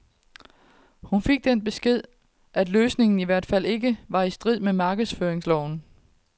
Hun fik den besked, at løsningen i hvert fald ikke var i strid med markedsføringsloven.